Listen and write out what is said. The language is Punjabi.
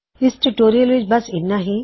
ਇਸ ਟਿਊਟੋਰਿਯਲ ਵਿੱਚ ਬੱਸ ਇਨਾ ਹੀ